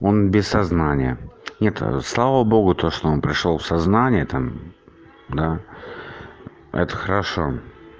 он без сознания нет слава богу то что он пришёл в сознание там да это хорошо